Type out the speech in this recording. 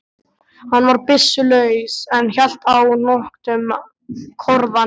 Hann var byssulaus en hélt á nöktum korðahníf.